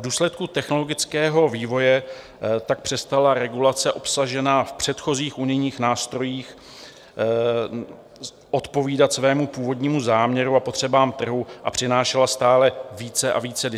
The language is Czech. V důsledku technologického vývoje tak přestala regulace obsažená v předchozích unijních nástrojích odpovídat svému původnímu záměru a potřebám trhu a přinášela stále více a více